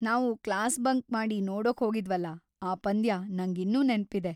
ನಾವು class bunk ಮಾಡಿ ನೋಡೋಕ್ ಹೋಗಿದ್ವಲ, ಆ ಪಂದ್ಯ ನಂಗಿನ್ನೂ ನೆನ್ಪಿದೆ.